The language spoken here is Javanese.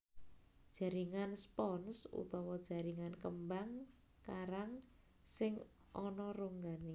Jaringan spons utawa jaringan kembang karang sing ana ronggané